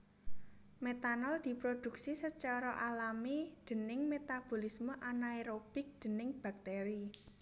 Metanol diprodhuksi sacara alami déning metabolisme anaerobik déning bakteri